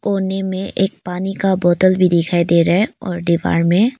कोने में एक पानी का बोतल भी दिखाई दे रहा है और दीवार में--